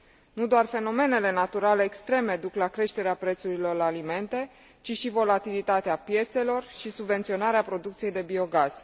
Nu doar fenomenele naturale extreme duc la creșterea prețurilor la alimente, ci și volatilitatea piețelor și subvenționarea producției de biogaz.